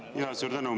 Suur tänu!